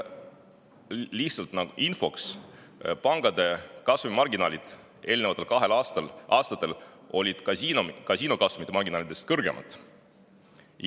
Lihtsalt infoks: pankade kasumimarginaalid olid eelneval kahel aastal kasiinode kasumimarginaalidest kõrgemad.